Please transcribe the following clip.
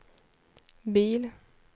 bil